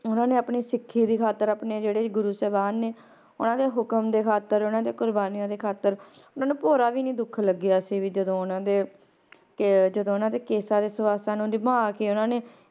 ਉਹਨਾਂ ਨੇ ਆਪਣੀ ਸਿੱਖੀ ਦੀ ਖ਼ਾਤਿਰ ਆਪਣੇ ਜਿਹੜੇ ਗੁਰੂ ਸਾਹਿਬਾਨ ਨੇ ਉਹਨਾਂ ਦੇ ਹੁਕਮ ਦੇ ਖ਼ਾਤਿਰ ਉਹਨਾਂ ਦੇ ਕੁਰਬਾਨੀਆਂ ਦੀ ਖ਼ਾਤਿਰ ਉਹਨਾਂ ਨੂੰ ਭੋਰਾ ਵੀ ਨੀ ਦੁੱਖ ਲੱਗਿਆ ਸੀ ਵੀ ਜਦੋਂ ਉਹਨਾਂ ਦੇ ਕਿ ਜਦੋਂ ਉਹਨਾਂ ਦੇ ਕੇਸਾਂ ਦੇ ਸੁਆਸਾਂ ਨੂੰ ਨਿਭਾ ਕੇ ਉਹਨਾਂ ਨੇ